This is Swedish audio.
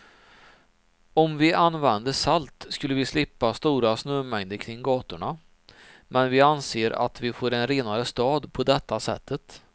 Om vi använde salt skulle vi slippa stora snömängder kring gatorna, men vi anser att vi får en renare stad på detta sättet.